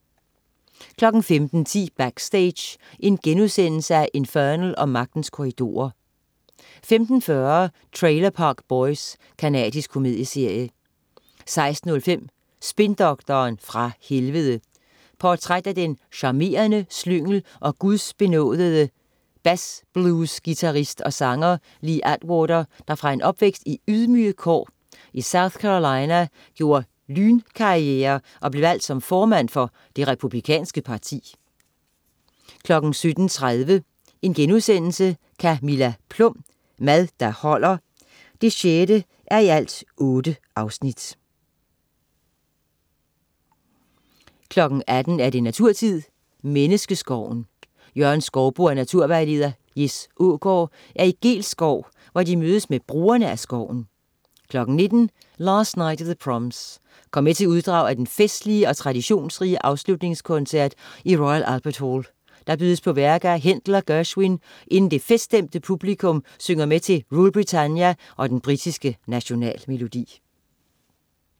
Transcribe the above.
15.10 Backstage: Infernal & Magtens Korridorer* 15.40 Trailer Park Boys. Canadisk komedieserie 16.05 Spindoktoren fra Helvede. Portræt af den charmerende slyngel og gudsbenådede bluesguitarist og -sanger Lee Atwater, der fra en opvækst i ydmyge kår i South Carolina gjorde lynkarriere og blev valgt som formand for Det Republikanske Parti 17.30 Camilla Plum. Mad der holder 6:8* 18.00 Naturtid. Menneskeskoven. Jørgen Skouboe og naturvejleder Jes Aagaard er i Geels Skov, hvor de mødes med brugerne af skoven 19.00 Last Night of the Proms. Kom med til uddrag fra den festlige og traditionsrige afslutningskoncert i Royal Albert Hall. Der bydes bl.a. på værker af Händel og Gerswin, inden det feststemte publikum synger med til Rule Britannia og den britiske nationalmelodi